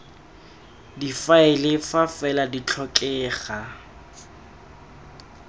difaele fa fela di tlhokega